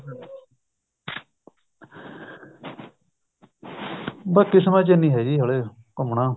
ਬੱਸ ਕਿਸਮਤ ਚ ਨੀ ਹੈ ਜੀ ਹਜੇ ਘੁੰਮਣਾ